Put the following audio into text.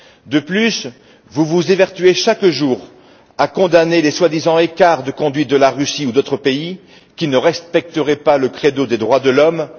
De plus, vous vous évertuez chaque jour à condamner les prétendus écarts de conduite de la Russie ou d'autres pays, qui ne respecteraient pas le credo des droits de l'homme.